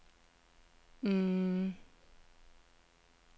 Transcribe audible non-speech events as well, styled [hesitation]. [hesitation]